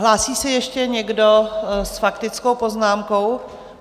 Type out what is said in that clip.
Hlásí se ještě někdo s faktickou poznámkou?